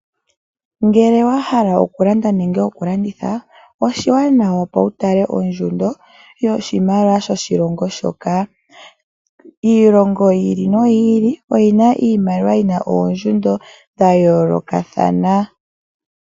Ngele wa hala okulanda nenge okulanditha, oshiwanawa opo wu tale ondjundo yoshimaliwa shoshilongo shoka. Iilongo yi ili noyi ili oyi na oondjundo dhoshimaliwa dha yoolokathana.